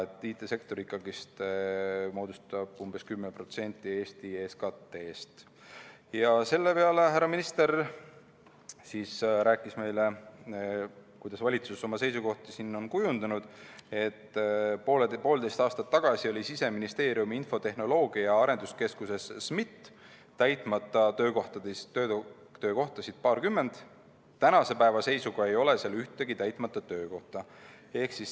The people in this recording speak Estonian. IT‑sektor moodustab ikkagi umbes 10% Eesti SKT‑st. Selle peale härra minister rääkis meile, kuidas valitsus on oma seisukohti kujundanud, et poolteist aastat tagasi oli Siseministeeriumi infotehnoloogia- ja arenduskeskuses SMIT täitmata töökohtasid paarkümmend, tänase päeva seisuga ei ole seal ühtegi täitmata töökohta.